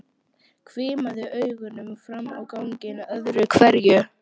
Hvimaði augunum fram á ganginn öðru hverju.